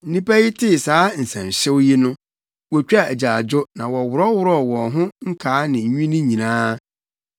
Nnipa yi tee saa nsɛnhyew yi no, wotwaa agyaadwo na wɔworɔworɔw wɔn ho nkaa ne nnwinne nyinaa.